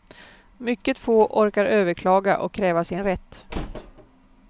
Mycket få orkar överklaga och kräva sin rätt.